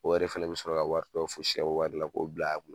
O yɛrɛ fɛnɛ bɛ sɔrɔ ka wari dɔ fosi ka bɔ wari la k'o bila a kun.